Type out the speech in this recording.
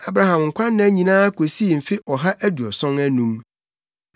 Abraham nkwanna nyinaa kosii mfe ɔha aduɔson anum.